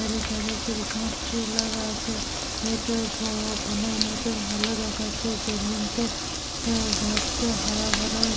ধারে ধারে Christmas tree লাগা আছে এটা-আ অনেক মতন ভাল দেখাচ্ছে জমিনতে আ ঘাসটা হরা ভরা--